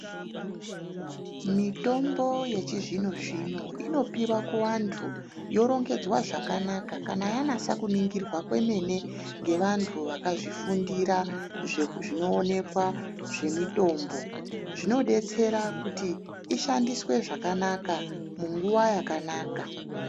Mitombo yechizvino-zvino inopiwa kuvantu yorongedzwa zvakanaka kana yanatsa kuningirwa kwemene ngevantu vakazvifundira zvinoonekwa zvemitombo. Zvinodetsera kuti ishandiswe zvakanaka munguva yakanaka.